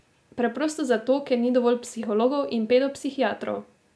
Preprosto zato, ker ni dovolj psihologov in pedopsihiatrov.